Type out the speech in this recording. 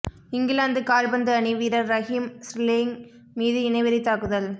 இங்கிலாந்து கால்பந்து அணி வீரர் ரஹீம் ஸ்ரேலிங் மீது இனவெறி தாக்குதல்